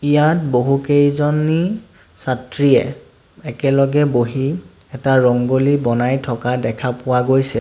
ইয়াত বহুকেইজনী ছাত্ৰীয়ে একেলগে বহি এটা ৰংগোলী বনাই থকা দেখা পোৱা গৈছে।